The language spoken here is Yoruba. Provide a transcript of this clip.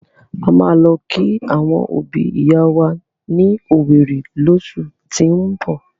A máa lọ kí àwọn òbi ìyá wa ní owerri llósù tín bọ̀.